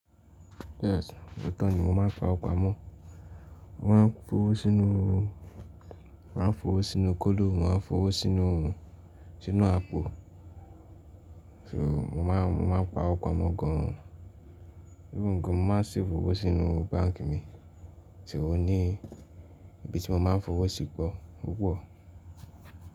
Yes, òótọ́ ni mò máa ń pa ọgbà mọ́. Mo máa ń fowó sínú, mo máa ń fowó sínú kolo, mo máa ń fowó sínú, sínú àpò. Mo máa ń, mo máa ń pawó pamọ́ gan-an. Even gan-an mò máa ń save owó sínú báǹkì mi, so ó ní, ibi tí mò máa ń fowó sì pọ̀ púpọ̀.